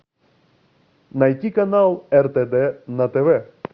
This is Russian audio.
найди канал ртд на тв